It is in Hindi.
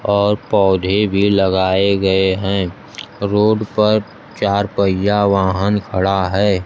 और पौधे भी लगाए गए हैं रोड पर चार पहिया वाहन खड़ा है।